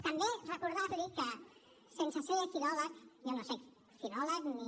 també recordar li que sense ser filòleg jo no soc filòleg ni